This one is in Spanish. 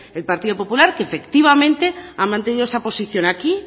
el partido popular que efectivamente ha mantenido esa posición aquí